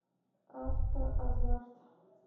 автоазарт